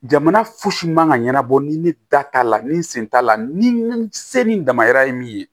Jamana fosi man ka ɲɛnabɔ ni ne da t'a la ni n sen t'a la ni se ni n damayira ye min ye